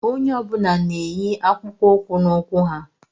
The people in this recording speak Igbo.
Onye ọbula n'ènyì akpụkpọ ụkwụ n'ụkwụ ha